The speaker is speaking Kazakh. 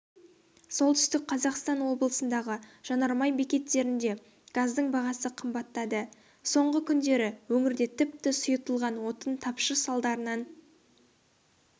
солтүстік қазақстан облысындағы жанармай бекеттерінде газдың бағасы қымбаттады соңғы күндері өңірде тіпті сұйытылған отын тапшы салдарынан